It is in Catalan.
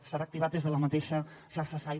serà activat des de la mateixa xarxa sai